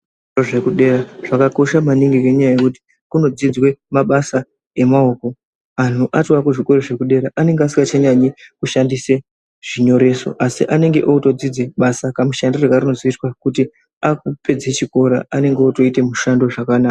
Kuzvikora zvekudera zvakakosha maningi ngekuti kunodzidzwa mabasa emaoko. Antu acho ekuzvikoro zvekudera anenge asingachanyanyi kushandise zvinyoreso asi anenge otodzidze basa kamushandirwe karinozoitwa kuti akupedze chikora anenge akutoite mishando zvakanaka.